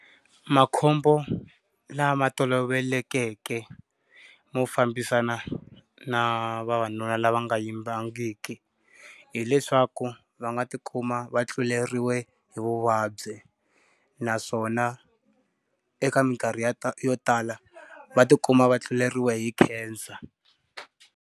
Makhombo lama tolovelekeke mo fambisana na vavanuna lava nga yimbangiki hileswaku va nga ti khoma va tluleriwe hi vuvabyi naswona eka mikarhi ya yo tala, va ti kuma vatluleriwa hi cancer.